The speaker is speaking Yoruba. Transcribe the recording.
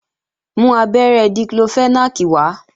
Mú abẹ́rẹ́ Diclofenac wá!